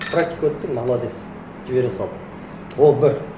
практика өттің молодец жібере салды ол бір